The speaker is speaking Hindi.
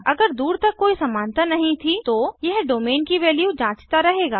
अगर दूर तक कोई समानता नहीं थी तो यह डोमेन की वैल्यू जांचता रहेगा